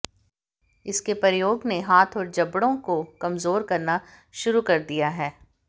इसके प्रयोग ने हाथ और जबड़ों को कमजोर करना शुरू कर दिया है